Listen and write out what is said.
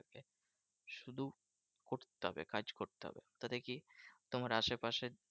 তবে কাজ করতে হবে। সেটা কি? তোমার আশেপাশে